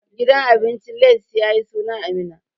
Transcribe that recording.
Gidan abincin Lace ya yi suna a Minna.